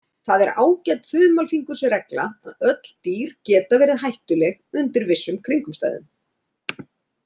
Það er ágæt þumalfingursregla að öll dýr geta verið hættuleg undir vissum kringumstæðum.